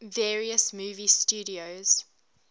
various movie studios